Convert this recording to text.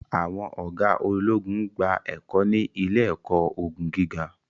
àwọn oga ologun n gba ẹkọ ni ile-ẹkọ ogun giga